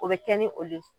O bɛ kɛ ni o de ye